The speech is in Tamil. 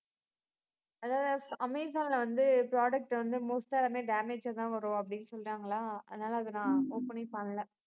அதாவது அமேசான்ல வந்து product வந்து most ஆ எல்லாமே damage ஆ தான் வரும் அப்படின்னு சொல்றாங்களாம். அதனால அதை நான் open ஏ பண்ணலை